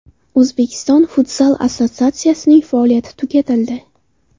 O‘zbekiston Futzal Assotsiatsiyasining faoliyati tugatildi.